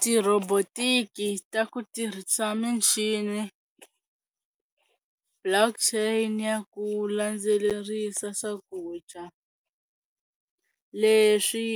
Ti-robotic-i ta ku tirhisa michini block chain ya ku landzelerisa swakudya leswi